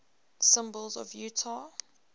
symbols of utah